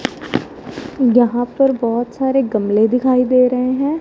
यहां पर बहोत सारे गमले दिखाई दे रहे हैं।